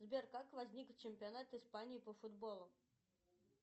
сбер как возник чемпионат испании по футболу